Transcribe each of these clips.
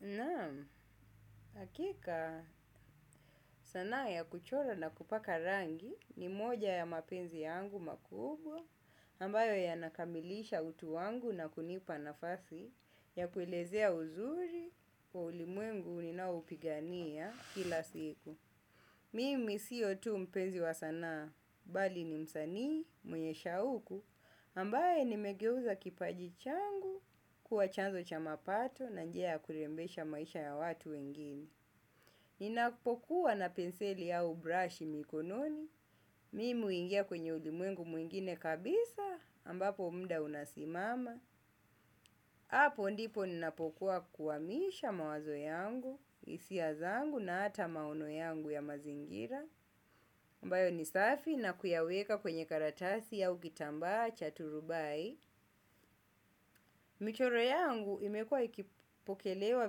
Naam, hakika sanaa ya kuchora na kupaka rangi ni moja ya mapenzi yangu makubwa, ambayo yanakamilisha utu wangu na kunipa nafasi ya kuilezea uzuri wa ulimwengu uninaoupigania kila siku. Mimi siyo tu mpenzi wa sanaa, bali ni msanii, mweye shauku, ambaye nimegeuza kipaji changu kuwa chanzo cha mapato na njia kurembesha maisha ya watu wengine. Ninakupokuwa na penseli ya brashi mikononi, mimi huingia kwenye ulimwengu mwingine kabisa, ambapo muda unasimama. Hapo ndipo ninapokuwa kuhamisha mawazo yangu, hisia zangu na hata maono yangu ya mazingira. Ambayo ni safi na kuyaweka kwenye karatasi au kitambaa cha turubai. Michoro yangu imekua ikipokelewa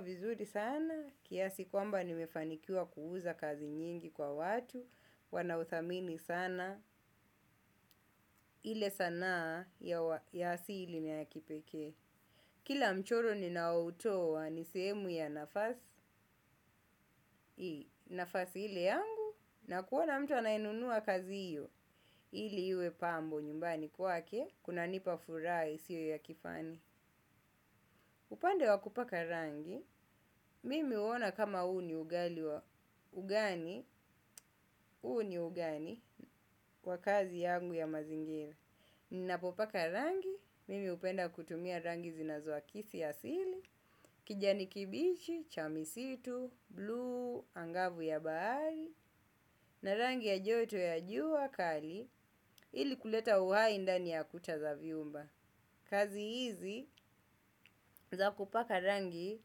vizuri sana. Kiasi kwamba nimefanikiwa kuuza kazi nyingi kwa watu. Wanauthamini sana. Ile sana ya asili na ya kipekee. Kila mchoro ninao toa sehemu ya nafasi, nafasi ile yangu, na kuona mtu anainunua kazi hiyo, ile pambo nyumbani kwake, kuna nipa furaha sio ya kifani. Upande wa kupaka rangi, mimi huona kama huo ni ugali wa, ugani, ugani kwa kazi yangu ya mazingira. Ninapopaka rangi, mimi hupenda kutumia rangi zinazo akisi asili, kijani kibichi, cha misitu, blue, angavu ya bahari, na rangi ya joto ya jua kali, ili kuleta uhai ndani ya kuta za vyumba. Kazi hizi za kupaka rangi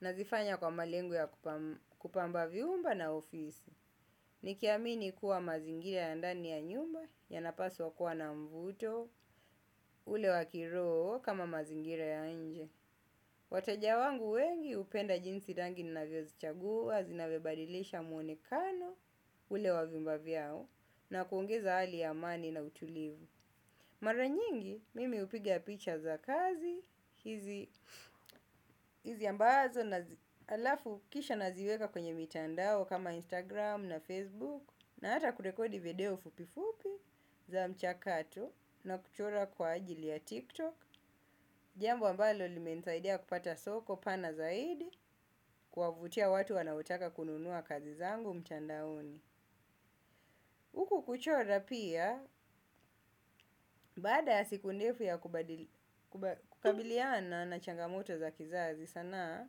nafanya kwa malengo ya kupamba vyumba na ofisi. Nikiamini kuwa mazingira ya ndani ya nyumba yanapaswa kuwa na mvuto ule wa kiroho kama mazingira ya nje. Wateja wangu wengi hupenda jinsi rangi ninavyozichagua zinavyobadilisha mwonekano ule wa vyumba vyao na kuongeza hali ya amani na utulivu. Mara nyingi, mimi hupiga picha za kazi hizi ambazo na alafu kisha naziweka kwenye mitandao kama Instagram na Facebook na hata kurekodi video fupifupi za mchakato na kuchora kwa ajili ya TikTok. Jambo ambalo limenisaidea kupata soko pana zaidi kuwautia watu wanaotaka kununua kazi zangu mtandaoni. Huku kuchora pia, baada ya siku ndefu ya kubadili, kukabiliana na changamoto za kizazi, sanaa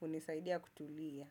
hunisaidia kutulia.